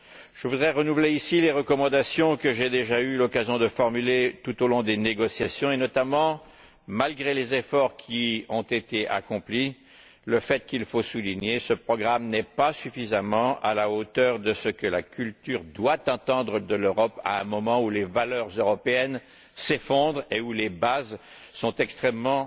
Je voudrais renouveler ici les recommandations que j'ai déjà eu l'occasion de formuler tout au long des négociations, et notamment malgré les efforts qui ont été accomplis souligner que ce programme n'est pas suffisamment à la hauteur de ce que la culture doit attendre de l'Europe à un moment où les valeurs européennes s'effondrent et où les bases en sont devenues extrêmement